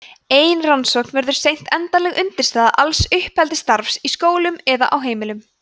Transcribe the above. ein rannsókn verður seint endanleg undirstaða alls uppeldisstarfs í skólum eða á heimilum